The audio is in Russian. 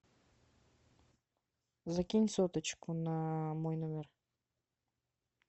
закинь соточку на мой номер